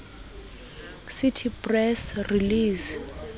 cite press release